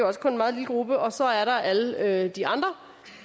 også kun en meget lille gruppe og så er der alle alle de andre